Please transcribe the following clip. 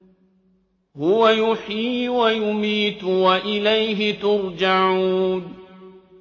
هُوَ يُحْيِي وَيُمِيتُ وَإِلَيْهِ تُرْجَعُونَ